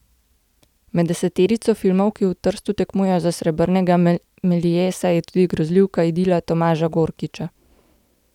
Med deseterico filmov, ki v Trstu tekmujejo za srebrnega meliesa, je tudi grozljivka Idila Tomaža Gorkiča.